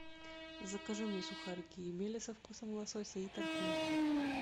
закажи мне сухарики емеля со вкусом лосося и тархун